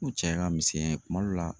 cɛya ka misɛnya in kuma dɔw la.